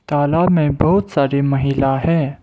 तालाब में बहुत सारी महिला हैं।